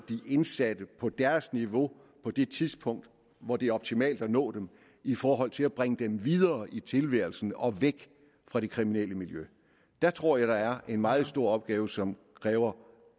de indsatte på deres niveau på det tidspunkt hvor det er optimalt at nå dem i forhold til at bringe dem videre i tilværelsen og væk fra det kriminelle miljø der tror jeg er en meget stor opgave som kræver